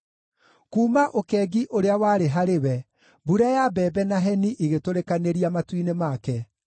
Kuuma ũkengi ũrĩa warĩ harĩ we, mbura ya mbembe na heni igũtũrĩkanĩria matu-inĩ make.